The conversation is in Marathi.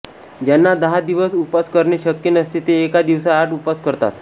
ज्यांना दहा दिवस उपवास करणे शक्य नसते ते एका दिवसाआड उपवास करतात